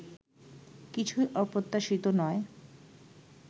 কিছুই অপ্রত্যাশিত নয়